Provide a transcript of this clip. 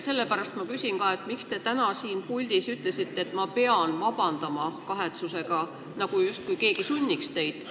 Sellepärast ma küsin, miks te täna siit puldist ütlesite, et ma pean vabandama, justkui keegi sunniks teid.